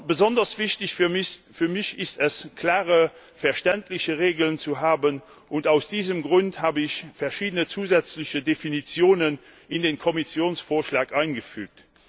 Besonders wichtig für mich ist es, klare verständliche Regeln zu haben, und aus diesem Grund habe ich verschiedene zusätzliche Definitionen in den Kommissionsvorschlag eingefügt.